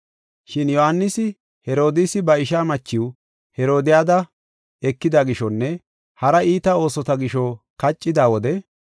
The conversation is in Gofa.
Shin Yohaanisi Herodiisi ba ishaa machiw, Herodiyada, ekida gishonne haraa iita oosota gisho hanqeetida wode,